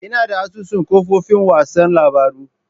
Ina da asusun kafofin watsa labarun.